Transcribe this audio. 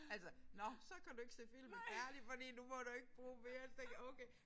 Altså nåh så kan du ikke se film herligt fordi nu må du ikke bruge mere så tænker okay